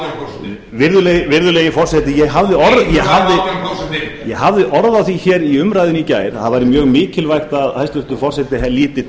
og einhuga um virðulegi forseti ég hafði orð á því hér í umræðunni í gær að það væri mjög mikilvægt að hæstvirtur forseti liti